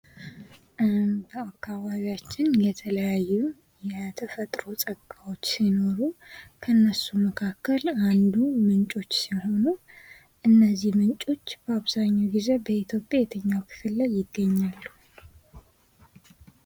በአካባቢያችን የተለያዩ የተፈጥሮ ጸጋወች ሲኖሩ ከነሱ መካከል ምንጮች ሲሆኑ እነዚህ ምንጮች በአብዛኛው ጊዜ በኢትዮጵያ የትኛው ክፍል ላይ ይገኛሉ።